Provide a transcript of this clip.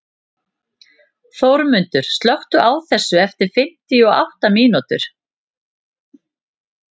Þórmundur, slökktu á þessu eftir fimmtíu og átta mínútur.